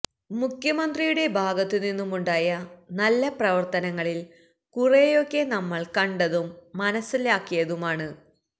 മുഖ്യമന്ത്രിയുടെ ഭാഗത്തുനിന്നുമുണ്ടായ നല്ല പ്രവര്ത്തനങ്ങളില് കുറേയൊക്കെ നമ്മള് കണ്ടതും മനസിലാക്കിയതുമാണ്